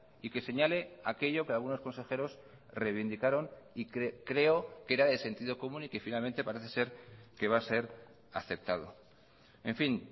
y que señale aquello que algunos consejeros reivindicaron y que creo que era de sentido común y que finalmente parece ser que va a ser aceptado en fin